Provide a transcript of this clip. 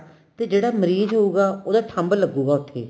ਤੇ ਜਿਹੜਾ ਮਰੀਜ ਹੋਊਗਾ ਉਹਦਾ thumb ਲਗੂਗਾ ਉੱਥੇ